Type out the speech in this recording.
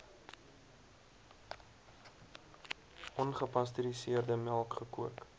ongepasteuriseerde melk gekook